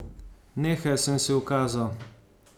Nehaj, sem si ukazal.